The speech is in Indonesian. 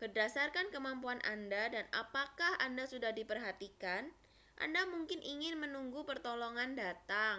berdasarkan kemampuan anda dan apakah anda sudah diperhatikan anda mungkin ingin menunggu pertolongan datang